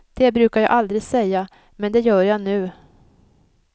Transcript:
Det brukar jag aldrig säga, men det gör jag nu.